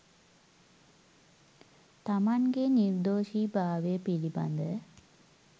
තමන්ගේ නිර්දෝෂී භාවය පිළිබඳ